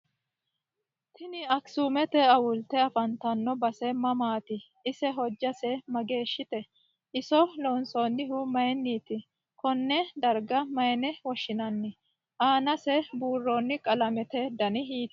Tini akisuumete awulte afantanno base mamaati ise hojjase mageeshite iso loonsoonihu mayiiniti konee darga mayiine woshinani aanase buuroni qalamete dani hiitooho